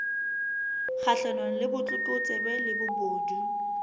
kgahlanong le botlokotsebe le bobodu